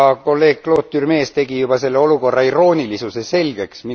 Kolleeg Claude Turmes tegi juba selle olukorra iroonilisuse selgeks.